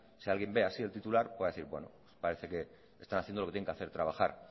si alguien ve así el titular pueda decir bueno parece que están haciendo lo que tienen que hacer trabajar